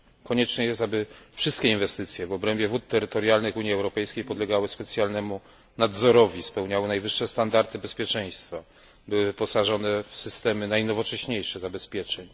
Konieczne jest, aby wszystkie inwestycje w obrębie wód terytorialnych Unii Europejskiej podlegały specjalnemu nadzorowi, spełniały najwyższe standardy bezpieczeństwa, były wyposażone w najnowocześniejsze systemy zabezpieczeń.